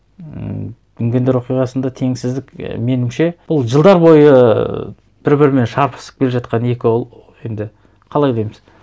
ммм дүнгендер оқиғасында теңсіздік меніңше бұл жылдар бойы бір бірімен шарпысып келе жатқан екі енді қалай дейміз